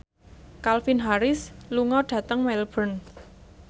Calvin Harris lunga dhateng Melbourne